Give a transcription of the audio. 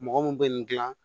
Mɔgɔ mun bɛ nin gilan